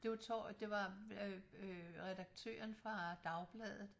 Det var det var øh redaktøren fra dagbladet